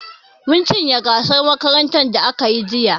Mun cinye gasar makarantar da aka yi jiya.